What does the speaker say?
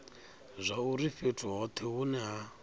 zwauri fhethu hothe hune ha